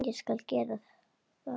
Ég skal gera það.